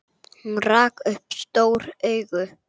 Hún rak upp stór augu.